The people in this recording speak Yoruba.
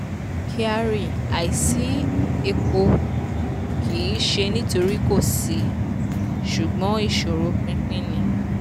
kyari: àisí epo kì um í ṣe nítorí kò sí ṣùgbọ́n ìṣòro pínpín ni.